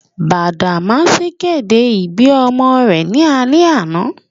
Badamasi kede ibi ọmọ rẹ ni alẹ ana.